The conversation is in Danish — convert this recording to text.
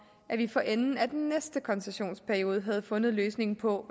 at vi for enden af den næste koncessionsperiode havde fundet løsningen på